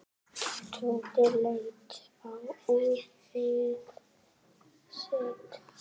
Tóti leit á úrið sitt.